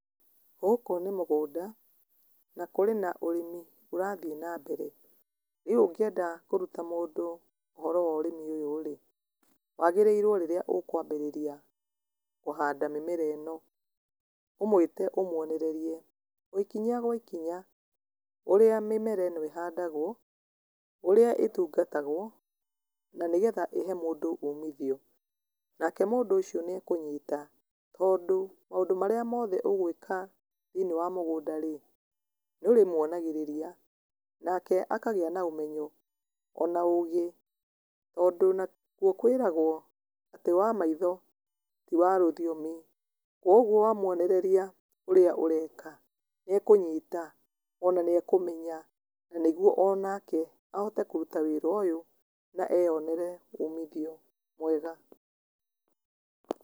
Gũkũ nĩ mũgũnda na kũrĩ na ũrĩmi ũrathiĩ nambere, rĩu ũngĩenda kũruta mũndũ ũhoro worĩmi ũyũ rĩ, wagĩrĩrwo rĩrĩa ũkwambĩrĩria kũhanda mĩmera ĩno, ũmũĩte ũmuonererie ikinya gwa ikinya, ũrĩa mĩmera ĩno ĩhandagwo, ũrĩa ĩtungatagwo, na nĩgetha ĩhe mũndũ ũmithio, nake mũndũ ũcio nĩekũnyita, tondũ maũndũ marĩa mothe ũgwĩka thĩiniĩ wa mũgũnda rĩ, nĩ ũrĩmwonagĩrĩria nake akagĩa na ũmenyo ona ũgĩ, tondũ nakuo kwĩragwo atĩ wamaitho ti warũthiomi, koguo wamwonereria ũrĩa ũreka nĩekũnyita, ona nĩekũmenya nĩguo onake, ahote kũruta wĩra ũyũ na eyonere umithio mwega.